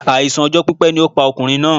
Àìsàn ọjọ́ pípẹ́ ni ó pa ọkùnrin náà